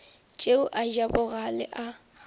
tšeo a ja bogale a